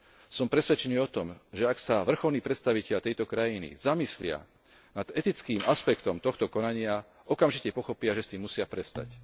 Som presvedčený o tom, že ak sa vrcholní predstavitelia tejto krajiny zamyslia nad etickým aspektom tohto konania, okamžite pochopia, že s tým musia prestať.